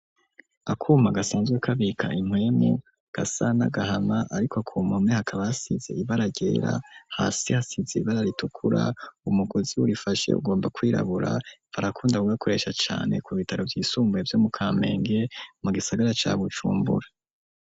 Akuma, gasanzwe kabika impwemu, gasa n'agahama, ariko ku mpome, hakaba hasize, ibara ryera; hasi hasize, ibara ritukura, umugozi urifashe, ugomba kwirabura; barakunda, kugakoresha cane, ku bitaro vyisumbuye, vyo mu Kamenge, mu gisagara, ca Bujumbura.